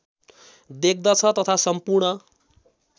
देख्दछ तथा सम्पूर्ण